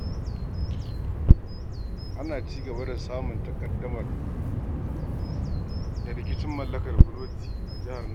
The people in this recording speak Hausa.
Ana ci gaba da samun taƙaddama da rikicin mallakar fuloti a jihar nan.